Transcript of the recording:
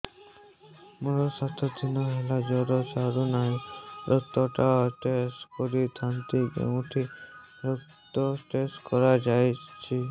ମୋରୋ ସାତ ଦିନ ହେଲା ଜ୍ଵର ଛାଡୁନାହିଁ ରକ୍ତ ଟା ଟେଷ୍ଟ କରିଥାନ୍ତି କେଉଁଠି ରକ୍ତ ଟେଷ୍ଟ କରା ଯାଉଛି